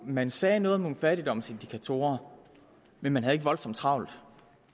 man sagde noget om nogle fattigdomsindikatorer men man havde ikke voldsomt travlt